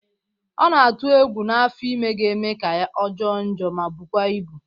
Ọ na-atụ egwu na afọ ime ga-eme ya ka ọ jọọ njọ ma bụkwa ịbụ